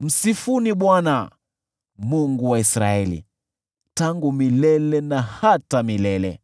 Msifuni Bwana , Mungu wa Israeli, tangu milele na hata milele. Amen